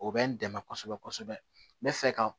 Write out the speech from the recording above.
O bɛ n dɛmɛ kosɛbɛ kosɛbɛ n bɛ fɛ ka